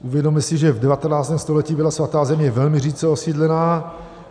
Uvědomme si, že v 19. století byla Svatá země velmi řídce osídlená.